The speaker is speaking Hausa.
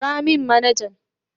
Kira min manajan.